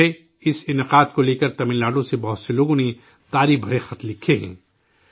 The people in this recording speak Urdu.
مجھے اس پروگرام کو لے کر تمل ناڈو سے بہت سے لوگوں نے سراہنا بھرے خط لکھے ہیں